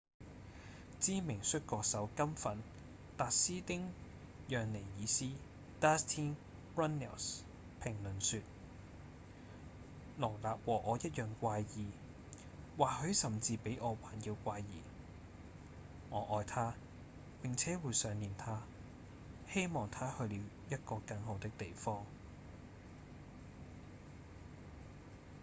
知名摔角手「金粉」達斯汀·讓尼爾斯 dustin runnels 評論說：「盧納和我一樣怪異或許甚至比我還要怪異我愛她並且會想念她希望她去了一個更好的地方」